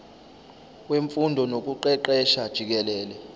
wemfundo nokuqeqesha jikelele